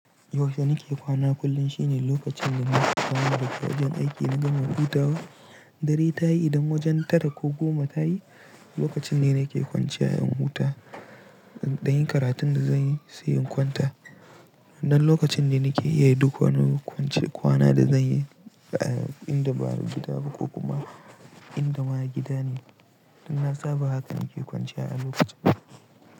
Yaushe nake kwana kullum shine lokacin da na sauka daga wajen aiki na gama hutawa. Dari tayi idan wajen tara ko goma tayi, lokacin ne nake kwanciya in huta, in dan yi karatun da zanyi sai in kwanta. Nan lokacin ne nake iya yi duk wani hukuncin kwana da zanyi, inda ba'a gida ba ko kuma inda ma a gida ne. Dan na saba haka nake kwanciya a lokacin.